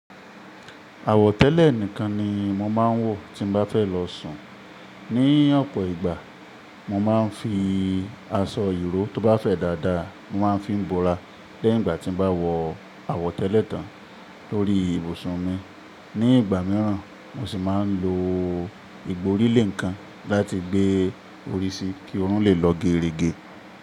Àwọ̀tẹ́lẹ̀ nìkan ni mo máa ń wọ̀ tí n bá fẹ́ lọ sùn. Ni ọ̀pọ̀ ìgbà mo máa ń fi aṣọ ìró tó bá fẹ́ dáadáa, mo máa ń fi bọ́ra lẹ́yìn ìgbà tí mo bá wọ àwọ̀tẹ́lẹ̀ tán lórí ibùsùn mi. Ni ìgbà mìíràn mo sì máa ń lo igborílé nǹkan láti gbé orí si kí oorun le lọ gerege.